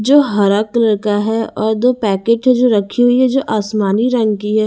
जो हरा कलर का है और दो पैकेट है जो रखी हुई है जो आसमानी रंग की है।